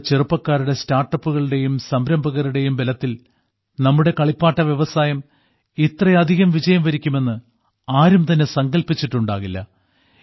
നമ്മുടെ ചെറുപ്പക്കാരുടെ സ്റ്റാർട്ടപ്പുകളുടെയും സംരംഭകരുടെയും ബലത്തിൽ നമ്മുടെ കളിപ്പാട്ട വ്യവസായം ഇത്രയധികം വിജയം വരിക്കുമെന്ന് ആരും തന്നെ സങ്കല്പിച്ചിട്ടുണ്ടാകില്ല